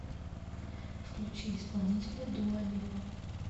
включи исполнителя дуа липа